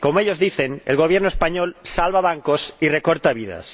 Como ellos dicen, el Gobierno español salva bancos y recorta vidas.